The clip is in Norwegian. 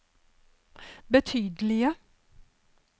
betydelige